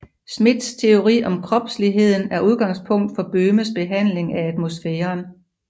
Schmitz teori om kropsligheden er udgangspunkt for Böhmes behandling af atmosfæren